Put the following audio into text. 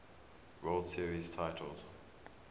world series titles